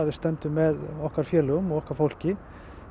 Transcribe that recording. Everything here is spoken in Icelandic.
við stöndum með okkar félögum og okkar fólki